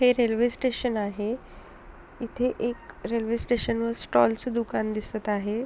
हे railway station आहे इथे एकरेल्वे स्टेशन वर स्टॉल च दुकान दिसत आहे.